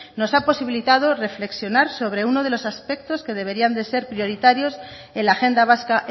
nos ha posibilitado reflexionar sobre uno de los aspectos que deberían de ser prioritarios en la agenda vasca